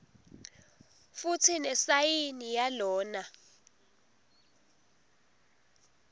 futsi nesayini yalona